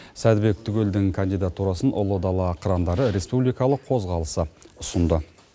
сәдібек түгелдің кандидатурасын ұлы дала қырандары республикалық қозғалысы ұсынды